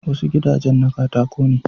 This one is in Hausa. Wasu gidajen na katako ne